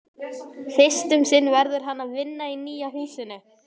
Fyrst um sinn verður hann að vinna í nýja húsinu.